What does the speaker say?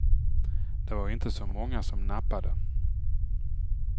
Det var inte så många som nappade.